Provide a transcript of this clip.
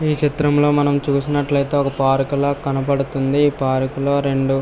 ఈ చిత్రం మనం చూసినట్లయితే ఒక పార్కు లాగా కనపడుతుంది పార్కు లో రెండు --